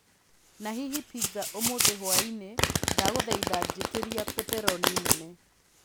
na hihi pizza ũmũthi hwaĩni ndagũthaitha njĩtĩria pepperoni nene